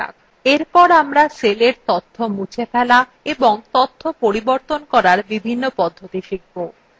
এরপর আমরা সেলের তথ্য মুছে ফেলা এবং তথ্য পরিবর্তন করার বিভিন্ন পদ্ধতি শিখব